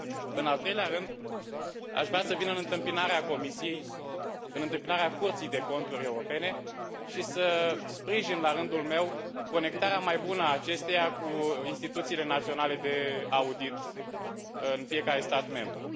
În al treilea rând, aș vrea să vin în întâmpinarea Comisiei, în întâmpinarea Curții de Conturi Europene și să sprijin, la rândul meu, conectarea mai bună a acesteia cu instituțiile naționale de audit în fiecare stat membru.